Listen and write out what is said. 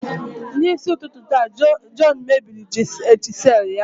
N'isi ụtụtụ taa, John mebiri chisel ya.